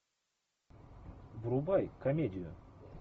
врубай комедию